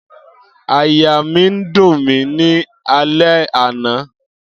Aiya mi n dun mi ni alẹ ana